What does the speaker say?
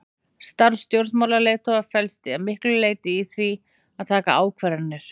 Starf stjórnmálaleiðtoga felst að miklu leyti í því að taka ákvarðanir.